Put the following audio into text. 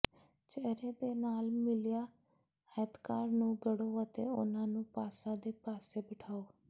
ਚਿਹਰੇ ਦੇ ਨਾਲ ਮਿਲਿਆ ਆਇਤਕਾਰ ਨੂੰ ਗੜੋ ਅਤੇ ਉਨ੍ਹਾਂ ਨੂੰ ਪਾਸਾ ਦੇ ਪਾਸੇ ਬਿਠਾਓ